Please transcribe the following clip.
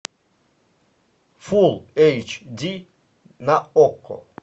фул эйч ди на окко